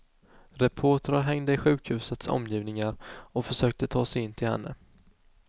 Reportrar hängde i sjukhusets omgivningar och försökte ta sig in till henne.